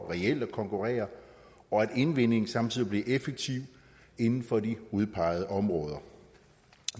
reelt at konkurrere og at indvinding samtidig bliver effektiv inden for de udpegede områder